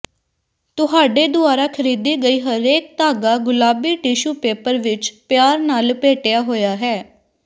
ਤੁਹਾਡੇ ਦੁਆਰਾ ਖਰੀਦੀ ਗਈ ਹਰੇਕ ਧਾਗਾ ਗੁਲਾਬੀ ਟਿਸ਼ੂ ਪੇਪਰ ਵਿਚ ਪਿਆਰ ਨਾਲ ਲਪੇਟਿਆ ਹੋਇਆ ਹੈ